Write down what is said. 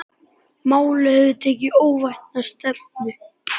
Málin höfðu tekið óvænta stefnu.